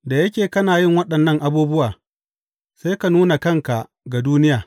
Da yake kana yin waɗannan abubuwa, sai ka nuna kanka ga duniya.